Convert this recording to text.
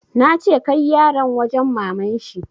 Nace kai yaran wajen maman shi!